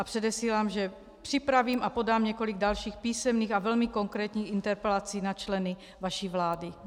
A předesílám, že připravím a podám několik dalších písemných a velmi konkrétních interpelací na členy vaší vlády.